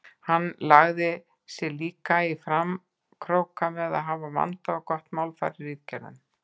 Hann lagði sig líka í framkróka með að hafa vandað og gott málfar í ritgerðunum.